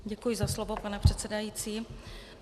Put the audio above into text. Děkuji za slovo, pane předsedající.